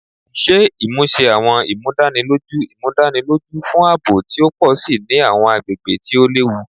Ṣe imuse Awọn Imudaniloju Imudaniloju fun aabo ti o pọ si ni awọn agbegbe ti o lewu